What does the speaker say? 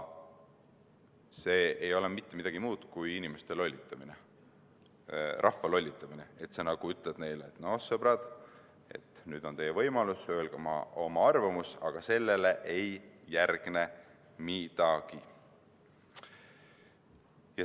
See ei ole mitte midagi muud kui inimeste lollitamine, rahva lollitamine: sa ütled neile, et noh, sõbrad, nüüd on teie võimalus öelda oma arvamus, aga sellele ei järgne midagi.